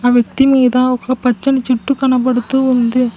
ఆ వ్యక్తి మీద ఒక పచ్చని చెట్టు కనబడుతూ ఉంది.